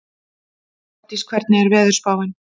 Ardís, hvernig er veðurspáin?